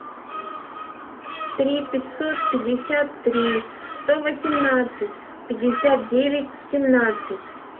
три пятьсот пятьдесят три сто восемнадцать пятьдесят девять семнадцать